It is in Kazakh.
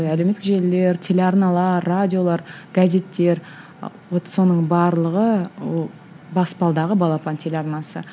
әлеуметтік желілер телеарналар радиолар газеттер вот соның барлығы ол баспалдағы балапан телеарнасы